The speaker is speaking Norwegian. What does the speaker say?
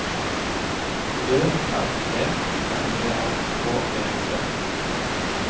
Ø R E M E R K E T